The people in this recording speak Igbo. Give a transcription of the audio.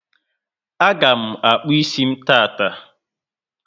A ga mụ akpu ísì m taata